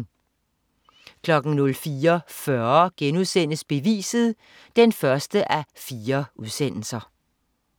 04.40 Beviset 1:4*